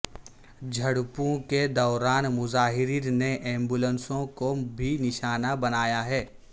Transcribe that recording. جھڑپوں کے دوران مظاہرین نے ایمبیولنسوں کو بھی نشانہ بنایا ہے